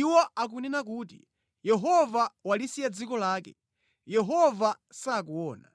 Iwo akunena kuti, ‘Yehova walisiya dziko lake; Yehova sakuona.’